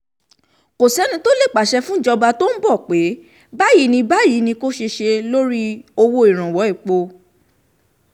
kò sẹ́ni tó lè pàṣẹ fúnjọba tó ń bọ̀ pé báyìí ni báyìí ni kò ṣe ṣe lórí owó ìrànwọ́ epo